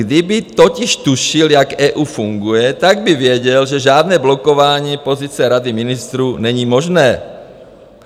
Kdyby totiž tušil, jak EU funguje, tak by věděl, že žádné blokování pozice Rady ministrů není možné.